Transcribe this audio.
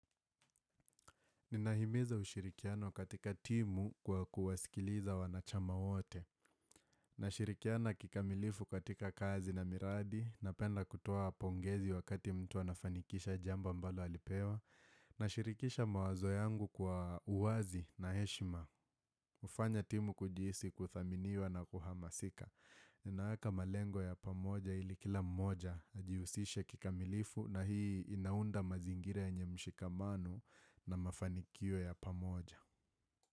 Ninahimiza ushirikiano katika timu kwa kuwasikiliza wanachama wote. Nashirikiana kikamilifu katika kazi na miradi. Napenda kutoa pongezi wakati mtu anafanikisha jambo ambalo alipewa. Nashirikisha mawazo yangu kwa uwazi na heshima. Hufanya timu kujisi kuthaminiwa na kuhamasika. Ninaeka malengo ya pamoja ili kila mmoja ajiusishe kikamilifu na hii inaunda mazingira yenye mshikamano na mafanikio ya pamoja.